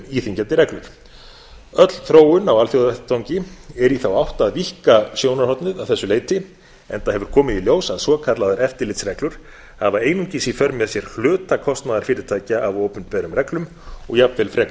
íþyngjandi reglur öll þróun á alþjóðavettvangi er í þá átt að víkka sjónarhornið að þessu leyti enda hefur komið í ljós að svokallaðar eftirlitsreglur hafa einungis í för með sé hluta kostnaðar fyrirtækja af opinberum reglum og jafnvel frekar